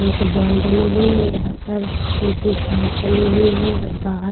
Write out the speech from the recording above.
एक बॉल डली हुई है यहाँ पर सुखी घास डली हुई है और बाहर --